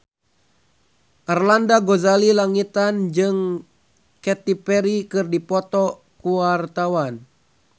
Arlanda Ghazali Langitan jeung Katy Perry keur dipoto ku wartawan